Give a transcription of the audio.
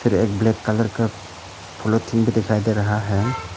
एक black colour का polythene भी दिखायी दे रहा है।